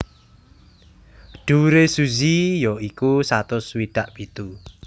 Dhuwure Suzy ya iku satus swidak pitu